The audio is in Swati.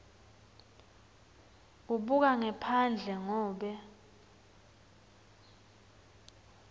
ubuka ngephandle ngobe